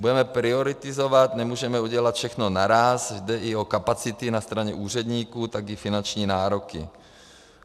Budeme prioritizovat, nemůžeme udělat všechno naráz, jde i o kapacity na straně úředníků i o finanční nároky.